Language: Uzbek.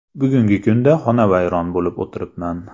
Bugungi kunda xonavayron bo‘lib o‘tiribman.